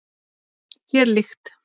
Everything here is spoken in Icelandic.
Þér líkt.